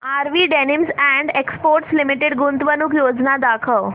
RV denims and exports limited गुंतवणूक योजना दाखव